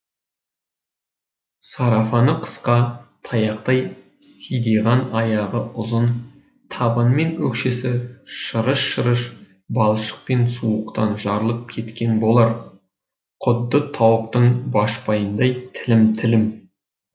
сарафаны қысқа таяқтай сидиған аяғы ұзын табаны мен өкшесі шырыш шырыш балшық пен суықтан жарылып кеткен болар құдды тауықтың башпайындай тілім тілім